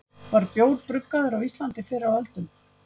var bjór bruggaður á íslandi fyrr á öldum